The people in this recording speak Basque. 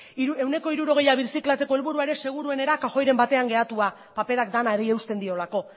ehuneko hirurogei birziklatzeko helburua seguruenera kajoiren batean geratua paperak denari eusten diolako